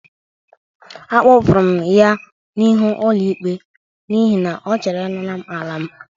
Akpọpụrụ m ya n'ịhụ ọlụ ikpe n'ihi na ọ chọrọ ị nara m ala m.